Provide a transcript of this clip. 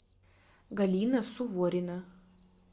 галина суворина